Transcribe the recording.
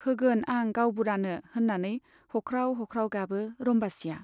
होगोन आं गाउबुरानो, होन्नानै हख्राव हख्राव गाबो रम्बासीया।